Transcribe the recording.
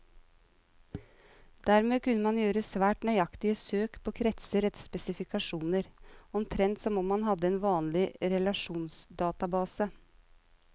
Dermed kunne man gjøre svært nøyaktige søk på kretser etter spesifikasjoner, omtrent som om man hadde en vanlig relasjonsdatabase.